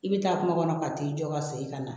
I bɛ taa kun kɔnɔ ka t'i jɔ ka segin ka na